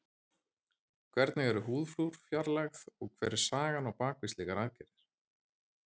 Hvernig eru húðflúr fjarlægð og hver er sagan á bak við slíkar aðgerðir?